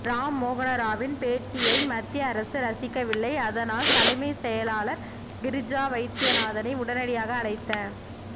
ராம் மோகனராவின் பேட்டியை மத்திய அரசு ரசிக்கவில்லை அதனால் தலைமை செயலாளர் கிரிஜா வைத்தியநாதனை உடனடியாக அழைத்த